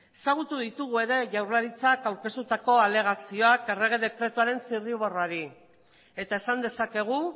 ezagutu ditugu ere jaurlaritzak aurkeztutako alegazioak errege dekretuaren zirriborroari eta esan dezakegu